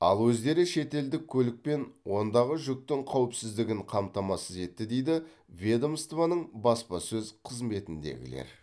ал өздері шетелдік көлік пен ондағы жүктің қауіпсіздігін қамтамасыз етті дейді ведомствоның баспасөз қызметіндегілер